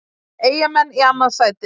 Eyjamenn í annað sætið